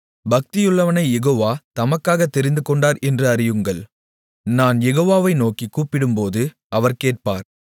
பக்தியுள்ளவனைக் Jehovah தமக்காகத் தெரிந்துகொண்டார் என்று அறியுங்கள் நான் யெகோவாவை நோக்கிக் கூப்பிடும்போது அவர் கேட்பார்